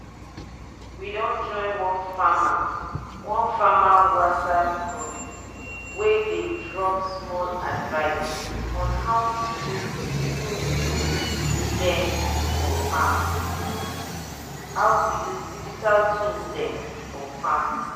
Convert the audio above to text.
we don join one farmer one farmer whatsapp group wey dey drop small advice on how to use digital tool dem for farm.